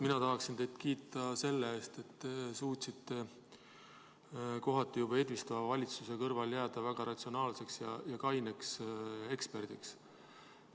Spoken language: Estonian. Mina tahaksin teid kiita selle eest, et te suutsite kohati juba edvistava valitsuse kõrval jääda väga ratsionaalseks ja kaineks eksperdiks.